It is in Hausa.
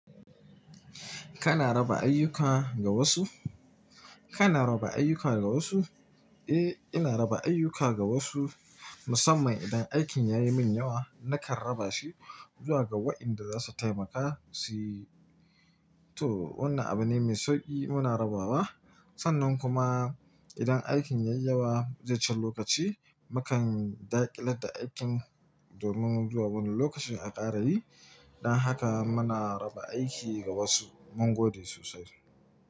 Kana raba ayyuka ga wasu? Kana raba ayyuka ga wasu? Eh, ina raba ayyuka ga wasu. Musamman idan aikin ya yi min yawa, nakan raba shi zuwa ga waɗanda za su taimaka suyi. To, wannan abu ne mai sauƙi muna rabawa. Sannan kuma idan aikin ya yi yawa zai cin lokaci, mu kan daƙile da aikin domin zuwa wani lokaci a ƙara yi. Dan haka muna raba aiki ga wasu. Mun gode sosai.